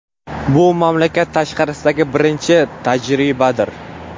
Bu mamlakat tashqarisidagi birinchi tajribadir.